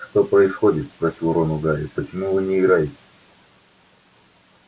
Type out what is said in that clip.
что происходит спросил рон у гарри почему вы не играете